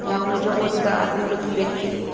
नाव में जो बहुत ज्यादा आदमी लोग बैठ के हैं।